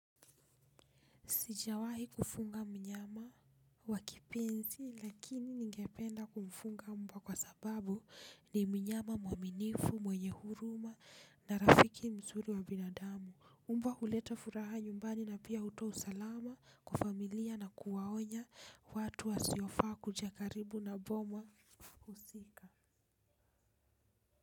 Sijawahi kufunga mnyama wakipenzi lakini ningependa kumfunga mbwa kwa sababu ni mnyama mwaminifu, mwenye huruma na rafiki mzuri wa binadamu. Umbwa huleta furaha nyumbani na pia hutoa usalama kwa familia na kuwaonya watu wasio faa kuja karibu na boma husika.